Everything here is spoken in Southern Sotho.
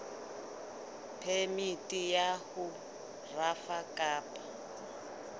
phemiti ya ho rafa kapa